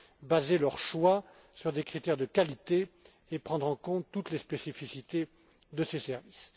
cas des SSIEG, baser leur choix sur des critères de qualité et prendre en compte toutes les spécificités de